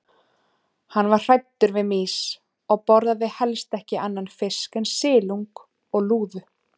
Hann var hræddur við mýs og borðaði helst ekki annan fisk en silung og lúðu.